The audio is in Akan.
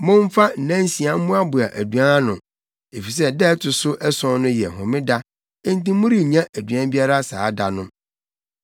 Momfa nnansia mmoaboa aduan ano, efisɛ da a ɛto so ason no yɛ homeda enti morennya aduan biara saa da no.”